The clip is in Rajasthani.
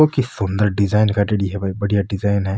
ऊ की सुन्दर डिजाईन काढ़ेड़ी है भाई बढ़िया डिजाईन है।